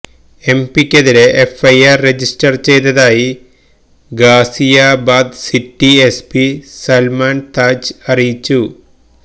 എംപിക്കെതിരെ FIR register ചെയ്തതായി Ghaziabad city SP Salman Taj അറിയിച്ചു